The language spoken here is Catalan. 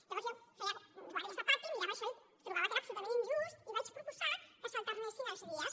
llavors jo feia guàrdies de pati mirava això i trobava que era absolutament injust i vaig proposar que s’alternessin els dies